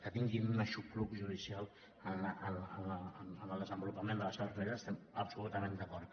que tinguin un aixopluc judicial en el desenvolupament de la seva responsabilitat hi estem absolutament d’acord